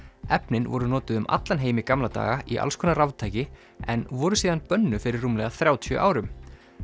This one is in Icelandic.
efnin voru notuð um allan heim í gamla daga í alls konar raftæki en voru síðan bönnuð fyrir rúmlega þrjátíu árum